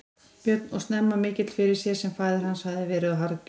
Björn og snemma mikill fyrir sér sem faðir hans hafði verið og harðgjör.